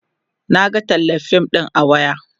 Naga tallar fim ɗin a waya